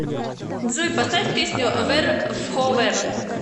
джой поставь песню вэ р вхо вэ р